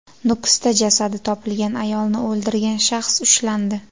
Nukusda jasadi topilgan ayolni o‘ldirgan shaxs ushlandi.